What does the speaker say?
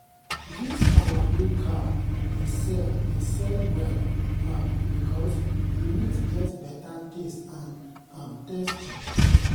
this our new cow dey sell dey sell well um because the meat get better taste and um texture.